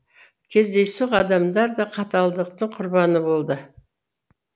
кездейсоқ адамдар да қаталдықтың құрбаны болды